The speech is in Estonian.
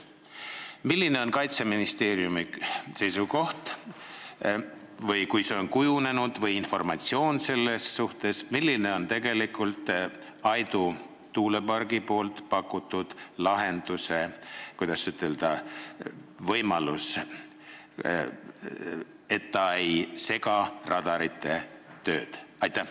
Milline on Kaitseministeeriumi väljakujunenud seisukoht või on teil informatsiooni, kas tegelikult Aidu tuulepargi pakutud lahenduse puhul on võimalik, et see ei sega radarite tööd?